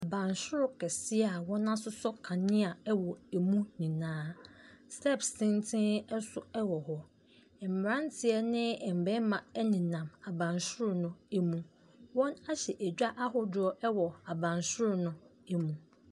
Abansoro kɛseɛ a wɔasosɔ kanea wɔ ɛmu nyinaa, steps tenten nso wɔ hɔ, mmeranteɛ ne mmarima nenam abansoro no ɛmu, wɔahyɛ dwa ahodoɔ wɔ abansoro no mu.